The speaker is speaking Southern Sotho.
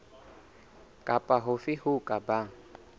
kapa hofe ho ka bang